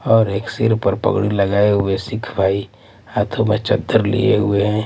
और एक सिर पर पगड़ी लगाए हुए सिख भाई हाथों में चत्तर लिए हुए हैं।